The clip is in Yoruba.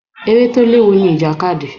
Eré tó léwu ni ìjàkadì.